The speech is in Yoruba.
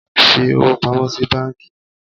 fi owo pamo si banki!